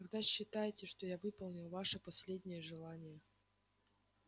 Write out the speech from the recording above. тогда считайте что я выполнил ваше последнее желание